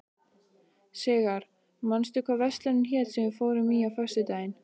Sigarr, manstu hvað verslunin hét sem við fórum í á föstudaginn?